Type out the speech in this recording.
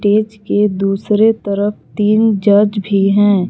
Stage के दूसरे तरफ तीन जज भी है।